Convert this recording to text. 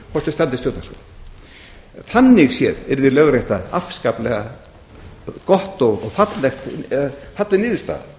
um standist stjórnarskrá þannig séð yrði lögrétta afskaplega góð eða falleg niðurstaða